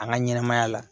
An ka ɲɛnɛmaya la